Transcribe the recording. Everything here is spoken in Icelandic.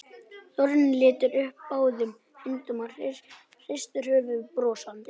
Þorfinnur lyftir upp báðum höndum og hristir höfuðið brosandi.